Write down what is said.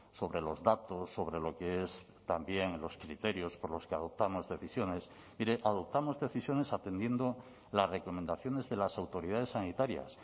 sobre los datos sobre lo que es también los criterios por los que adoptamos decisiones mire adoptamos decisiones atendiendo las recomendaciones de las autoridades sanitarias